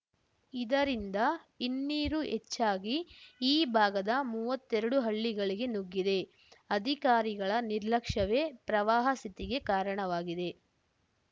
ಇದರಿಂದ ಹಿನ್ನೀರು ಹೆಚ್ಚಾಗಿ ಈ ಭಾಗದ ಮೂವತ್ತೆರಡು ಹಳ್ಳಿಗಳಿಗೆ ನುಗ್ಗಿದೆ ಅಧಿಕಾರಿಗಳ ನಿರ್ಲಕ್ಷ್ಯವೇ ಪ್ರವಾಹ ಸ್ಥಿತಿಗೆ ಕಾರಣವಾಗಿದೆ